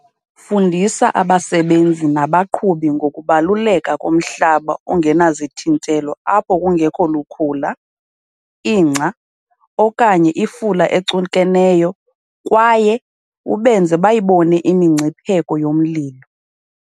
Fundisa abasebenzi nabaqhubi ngokubaluleka komhlaba ongenazithintelo apho kungekho lukhula, ingca okanye ifula ecukeneyo kwaye ubenze bayibone imingcipheko yomlilo.